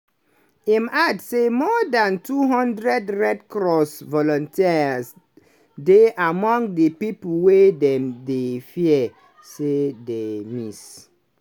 im add say more dan 200 red cross volunteers dey among di pipo wey dem dey fear say dey miss.